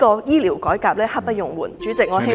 醫療改革刻不容緩，主席，我希望政府做......